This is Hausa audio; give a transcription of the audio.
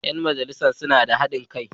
‘Yan jam’iyyar suna da hadin kai.